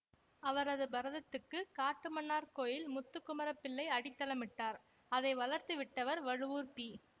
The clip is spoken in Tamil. அவரது பரதத்துக்கு காட்டுமன்னார் கோயில் முத்துக்குமரப் பிள்ளை அடித்தளமிட்டார் அதை வளர்த்து விட்டவர் வழுவூர் பி